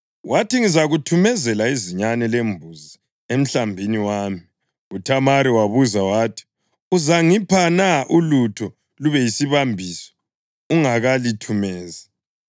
Wathi, “Ngizakuthumezela izinyane lembuzi emhlambini wami.” UThamari wabuza wathi, “Uzangipha na ulutho lube yisibambiso ungakalithumezi?”